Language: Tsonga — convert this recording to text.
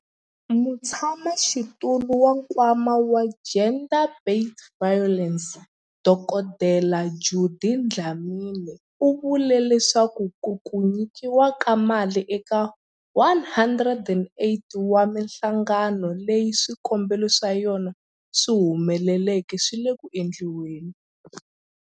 Mutshamaxitulu wa Nkwama wa GBVF, Dkd Judy Dlamini, u vule leswaku ku nyikiwa ka mali eka 108 wa mihlangano leyi swikombelo swa yona swi humeleleke swi le ku endliweni.